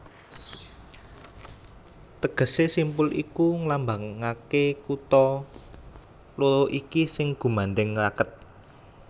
Tegesé simpul iki nglambangaké kutha loro iki sing gumandhèng raket